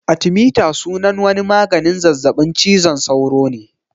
Artimiter sunan wani maganin zazzaɓin cizon sauro ne